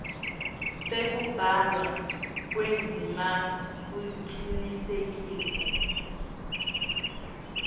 tekubhalwa kwendzima kucinisekisa